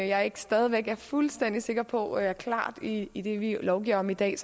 jeg stadigvæk ikke er fuldstændig sikker på er klart i i det vi lovgiver om i dag